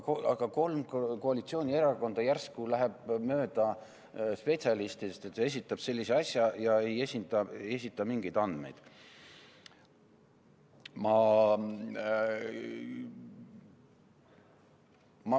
Aga kolm koalitsioonierakonda järsku lähevad mööda spetsialistidest ja esitavad sellise asja, aga ei esita mingeid andmeid.